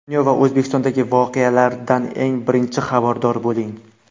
Dunyo va O‘zbekistondagi voqealardan eng birinchi xabardor bo‘ling.